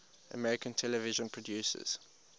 american television producers